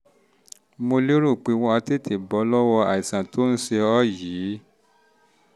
mo lérò pé wà wà á tètè bọ́ lọ́wọ́ àìsàn tó ń ṣe ọ́ yìí